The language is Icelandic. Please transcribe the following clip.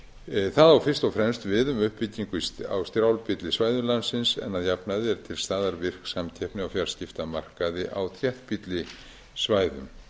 það á fyrst og fremst við um uppbyggingu á strjálbýlli svæðum landsins en að jafnaði er til staðar virk samkeppni á fjarskiptamarkaði á þéttbýlli svæðum